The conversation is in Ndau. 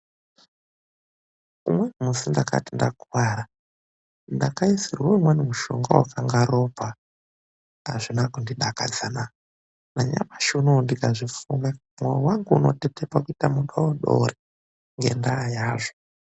Umweni musi ndakati ndakuwara ,ndakaisirwa umweni mushonga wainga wakaite ropa. Azvina kundidakadza, nanyamushi uno ndikazvifunga mwoyo wangu unotetepa kuite mudodori ngendaa yazvo.